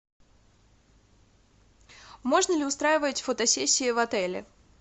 можно ли устраивать фотосессии в отеле